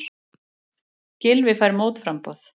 Gylfi fær mótframboð